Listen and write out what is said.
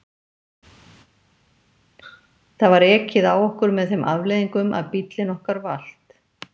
Það var ekið á okkur með þeim afleiðingum að bíllinn okkar valt.